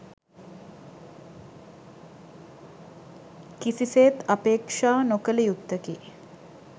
කිසිසේත් අපේක්ෂා නො කළ යුත්තකි.